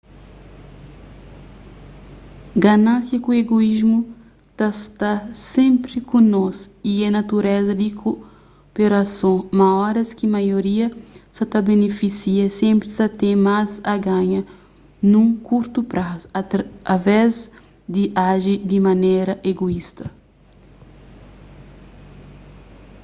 ganánsia ku egoísmu ta sta senpri ku nos y é natureza di koperason ma óras ki maioria sa ta benifisia senpri ta ten más a ganha nun kurtu prazu através di aji di manera egoísta